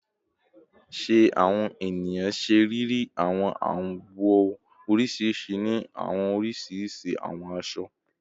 Ṣe awọn eniyan ṣe riri awọn awọ oriṣiriṣi ni awọn oriṣiriṣi awọn aṣọ?